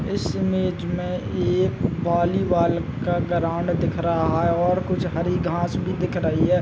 इस इमेज में एक बॉलीवाल का गराऊंड दिख रहा है और कुछ हरी घाँस भी दिख रही है।